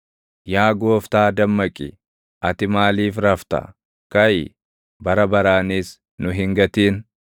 Yaa Gooftaa dammaqi! Ati maaliif rafta? Kaʼi! Bara baraanis nu hin gatin.